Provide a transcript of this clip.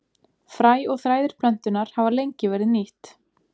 Fræ og þræðir plöntunnar hafa lengi verið nýtt.